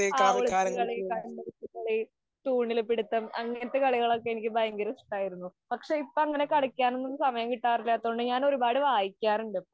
ഒളിച്ചുകളി, കണ്ണുപൊത്തിക്കളി, തൂണില് പിടിത്തം അങ്ങനത്തെ കളികളൊക്കെ എനിക്ക് ഭയങ്കര ഇഷ്ടായിരുന്നു. പക്ഷെ, ഇപ്പൊ അങ്ങനത്തെ കളികളൊന്നും കളിക്കാന്‍ . സമയം കിട്ടാറില്ലാത്തതു കൊണ്ട് ഞാന്‍ വായിക്കാറുണ്ട് ഇപ്പം.